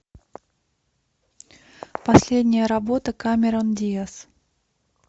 последняя работа камерон диаз